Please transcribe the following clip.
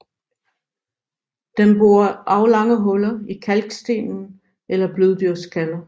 Den borer aflange huller i kalksten eller bløddyrskaller